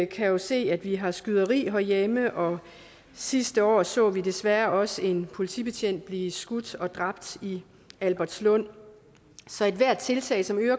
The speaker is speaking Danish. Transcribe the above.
kan se at vi har skyderi herhjemme og sidste år så vi desværre også en politibetjent blive skudt og dræbt i albertslund så ethvert tiltag som øger